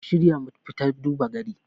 ku shirya mu fita duba gari